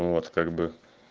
вот как бы